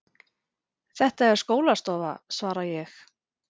Þetta er skólastofa, svara ég.